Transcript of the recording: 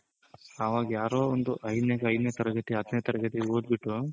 ಅವಾಗ್ ಯಾರೋ ಒಂದು ಐದನೇ ತರಗತಿ ಹತ್ತನೆ ತರಗತಿ ಓದ್ಬಿಟ್ಟು